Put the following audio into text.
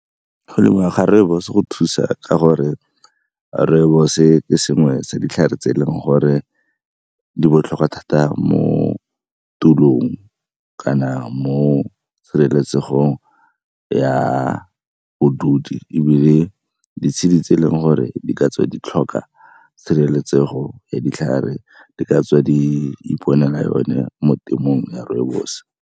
Go lemiwa ga rooibos-o go thusa ka gore rooibos ke sengwe tsa ditlhare tse e leng gore di botlhokwa thata mo tulong kana mo tshireletsegong ya . Ebile ditshedi tse e leng gore di ka tswa di tlhoka tshireletsego ya ditlhare di ka tswa di iponela yone mo temong ya rooibos.